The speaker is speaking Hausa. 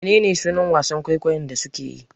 Menene sunan wasan kwaikwayon da suke yi?